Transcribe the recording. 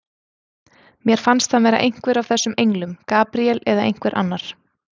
Mér fannst hann vera einhver af þessum englum, Gabríel eða einhver annar.